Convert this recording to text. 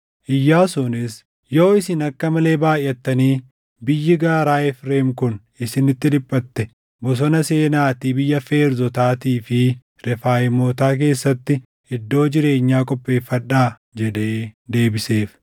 Iyyaasuunis, “Yoo isin akka malee baayʼattanii biyyi gaaraa Efreem kun isinitti dhiphatte bosona seenaatii biyya Feerzotaatii fi Refaayimootaa keessatti iddoo jireenyaa qopheeffadhaa” jedhee deebiseef.